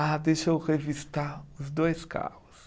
Ah, deixa eu revistar os dois carros.